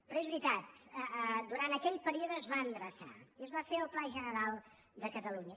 però és veritat durant aquell període es va endreçar i es va fer el pla general de catalunya